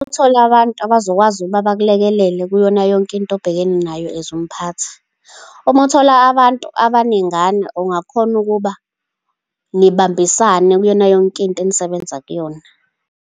Ukuthola abantu abazokwazi ukuba bakulekelele kuyona yonkinto obhekene nayo, as umphathi. Uma uthola abantu abaningana, ungakhona ukuba nibambisane kuyona yonkinto enisebenza kuyona.